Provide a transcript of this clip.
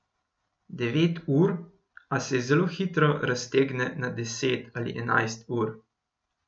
Devet ur, a se zelo hitro raztegne na deset ali enajst ur.